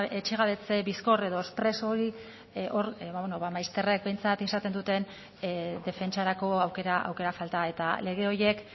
etxe gabetze bizkor edo express hori hor behintzat izaten duten defentsarako aukera falta eta lege horiek